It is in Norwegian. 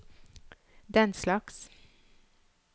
denslags